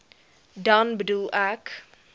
dan bedoel ek